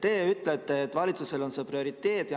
Te ütlete, et valitsusele on see prioriteet.